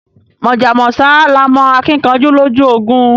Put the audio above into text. Mojá mósá laa mó akinkanjú lójú ogun